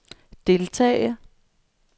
deltage